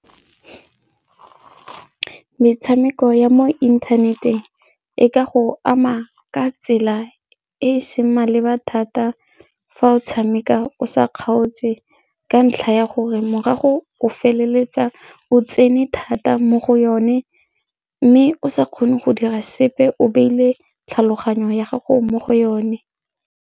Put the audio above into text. Metshameko ya mo inthaneteng e ka go ama ka tsela e e seng maleba thata fa o tshameka o sa kgaotse e ka ntlha ya gore morago o feleletsa o tsene thata mo go yone mme o sa kgone go dira sepe o beile tlhaloganyo ya gago mo go yone.